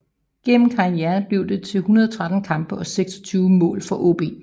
Gennem karrieren blev det til 113 kampe og 26 mål for AaB